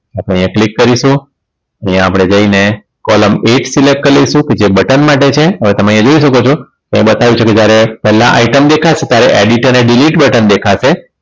આપણે અહીંયા click કરીશું અહીંયા આપણે જઈને column એક select કર લઈશું જે button માં જશે હવે તમે જોઈ શકો છો અહીં બતાવ્યુ છે કે જ્યારે પેલા item દેખાશે ત્યારે id પર delete button દેખાશે